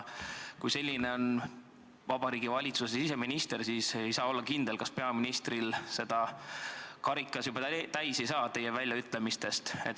Kui selline on Vabariigi Valitsuse siseminister, siis ei saa olla kindel, kas peaministri karikas ei saa teie väljaütlemistest juba täis.